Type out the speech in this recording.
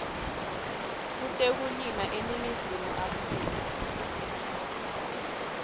kutekulima eningizimu afrika